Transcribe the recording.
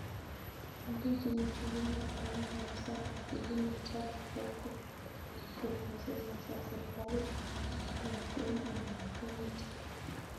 Aldachi njuguk aldaik ab sang, Kilimo trust ,Agro-processors ak serikalit ab kwen anan kaundi